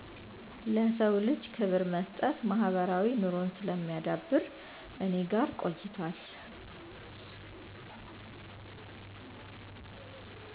ለሰዉ ልጅ ክብር መስጠት ማህበራዊ ኑሮን ስለሚያዳብር እኔ ጋ ቆይቷል